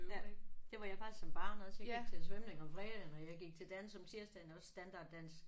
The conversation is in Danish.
Ja det var jeg faktisk som barn også. Jeg gik til svømning om fredagen og jeg gik til dans om tirsdagen også standarddans